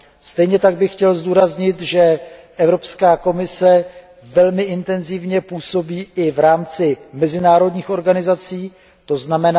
Stejně tak bych chtěl zdůraznit, že Evropská komise velmi intenzivně působí i v rámci mezinárodních organizací, tzn.